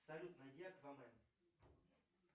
салют найди аквамен